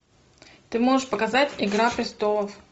ты можешь показать игра престолов